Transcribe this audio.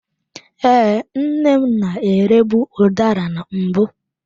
Ee, nne m na-erebu udara na mbụ.